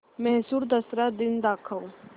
म्हैसूर दसरा दिन दाखव